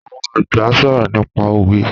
Àwọn àgbà ń sọ̀rọ̀ nípa òwe